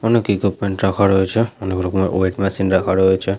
অনেক রাখা রয়েছে অনেক রকমের ওয়েট মেশিন রাখা রয়েছে।